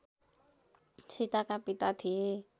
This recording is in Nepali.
सीताका पिता थिए